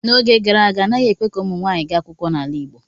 N'oge gara aga anaghị ekwe ka ụmụ nwanyị gaa ụlọ akwụkwọ n'ala igbo.